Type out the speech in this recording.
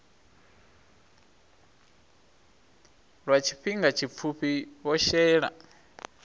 lwa tshifhinga tshipfufhi vho shela